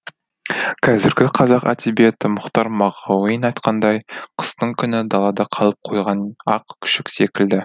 қазіргі қазақ әдебиеті мұхтар мағауин айтқандай қыстың күні далада қалып қойған ақ күшік секілді